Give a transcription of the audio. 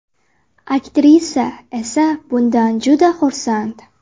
Aktrisa esa bundan juda xursand.